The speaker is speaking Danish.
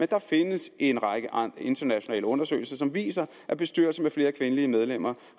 der findes en række internationale undersøgelser som viser at bestyrelser med flere kvindelige medlemmer